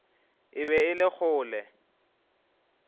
e be e le kgole